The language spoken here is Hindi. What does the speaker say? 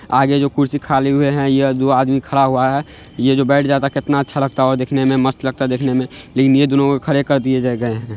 आगे जो कुर्सी खाली हुए हैं यह दो आदमी खरा हुआ है ये जो बैठ जाता कितना अच्छा लगता ओ देखने में मस्त लगता देखने में लेकिन ये दोनों को खड़े कर दिए ज गए हैं ।